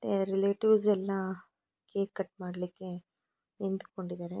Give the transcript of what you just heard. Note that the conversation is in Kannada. ಏ ರಿಲೇಟಿವ್ಸ್ ಎಲ್ಲಾ ಕೇಕು ಕಟ್ ಮಾಡ್ಲಿಕ್ಕೆ ನಿಂತುಕೊಂಡಿದ್ದಾರೆ.